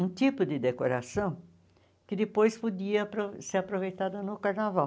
Um tipo de decoração que depois podia apro ser aproveitada no carnaval.